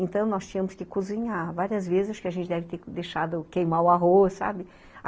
Então, nós tínhamos que cozinhar várias vezes, que a gente deve ter deixado queimar o arroz, sabe?